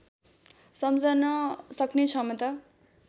सम्झन सक्ने क्षमता